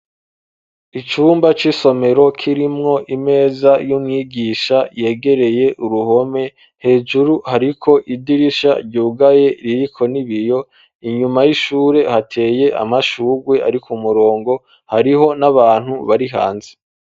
Icumba c'isomero kirimwo imeza y'umwigisha yegereye uruhome hejuru hariko idirisha ryugaye ririko ni biyo inyuma y'ishure hateye amashurwe, ariko umurongo hariho n'abantu bari hanze.